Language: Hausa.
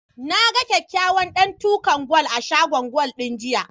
Na ga kyakkyawan ɗantukan gwal a shagon gwal ɗin, jiya.